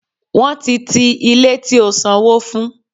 Wọ́n ti ti Ilé tí ó sanwó fún.